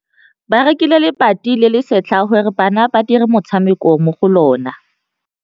Ba rekile lebati le le setlha gore bana ba dire motshameko mo go lona.